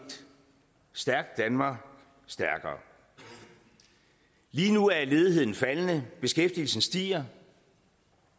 stærkt danmark stærkere lige nu er ledigheden faldende beskæftigelsen stiger